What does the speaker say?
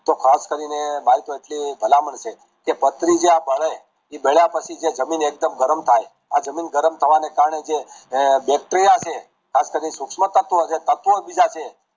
તો ખાસ કરીને મારી તો એટલી સલાહ મન છે કે પાથરી જે આ બડે જે બળ્યા પછી આ જમીન ગરમ થાય આ અમીન રામ થવાના કારણે જે bacteria છે ખાસ કરીને સુષ્મા તત્વ છે અન્ય બીજા છે